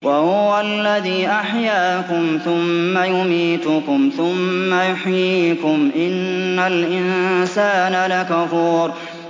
وَهُوَ الَّذِي أَحْيَاكُمْ ثُمَّ يُمِيتُكُمْ ثُمَّ يُحْيِيكُمْ ۗ إِنَّ الْإِنسَانَ لَكَفُورٌ